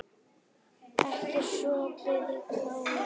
Ekki sopið í kálið.